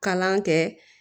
Kalan kɛ